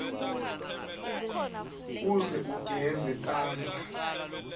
uze ugeze tandla